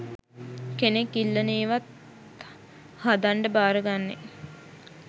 කෙනෙක් ඉල්ලන ඒවත් හදන්ඩ භාරගන්නේ.